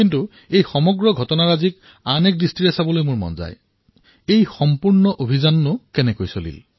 কিন্তু সমগ্ৰ ঘটনাটো মই আন এটা দৃষ্টিভংগীৰে প্ৰত্যক্ষ কৰিলোঁ যে এই সমগ্ৰ কাৰ্যট কিদৰে সম্ভৱ হল